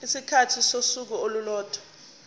isikhathi sosuku olulodwa